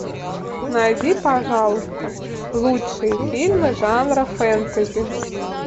найди пожалуйста лучшие фильмы жанра фэнтези